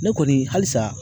Ne kɔni halisa